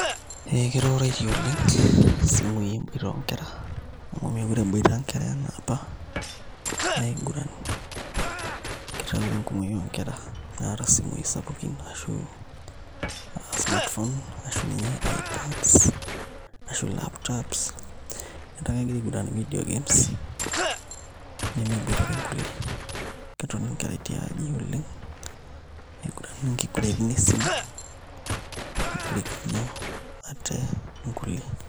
Ee keitaroitie oleng' isumui emboita oonkera amu meekure eboita nkera enaa apa aiguran ketaa ore enkumoi oonkera naata isimuui sapukin arashu a smartphones ashu ninye ipads arashu laptops etaa kegira aiguran video games nemeboitare nkulie ketoni nkera tiaji oleng' niguran nkiguraitin esimu nitorikino ate nkulie.